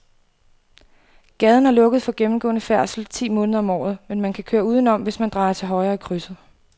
Gaden er lukket for gennemgående færdsel ti måneder om året, men man kan køre udenom, hvis man drejer til højre i krydset.